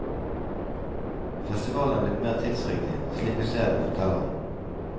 Festivalen er blitt mer tidsriktig, slik vi ser det, forteller han.